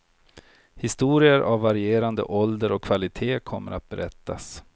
Historier av varierande ålder och kvalitet kommer att berättas.